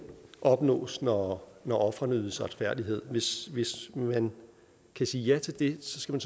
opnås når når ofrene ydes retfærdighed hvis hvis man kan sige ja til det skal